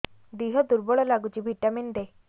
ଦିହ ଦୁର୍ବଳ ଲାଗୁଛି ଭିଟାମିନ ଦେ